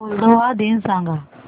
Moldova दिन सांगा